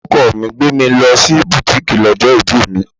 Ọkọ mi gbé mi lọ sí butiiki lọ́jọ́ ibí mi.